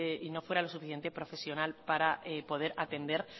y no fuera lo suficiente profesional para poder atender